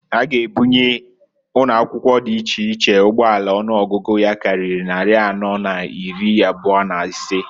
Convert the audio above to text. Ha g' ebunye ụnọakwụkwọ dị iche iche ụgbọala ọnụọgụgụ ya karịrị nnarị anọọ n'iri ịbụa n'ịsaa.